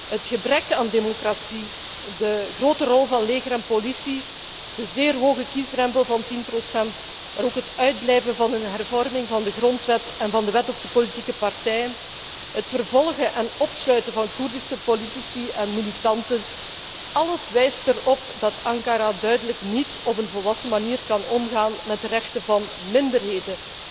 Het gebrek aan democratie, de grote rol van leger en politie, de zeer hoge kiesdrempel van 10 procent, maar ook het uitblijven van een hervorming van de grondwet en van de wet op de politieke partijen, het vervolgen en opsluiten van Koerdische politici en militanten, alles wijst erop dat Ankara duidelijk niet op een volwassen manier kan omgaan met de rechten van minderheden.